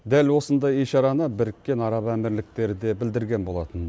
дәл осындай ишараны біріккен араб әмірліктері де білдірген болатын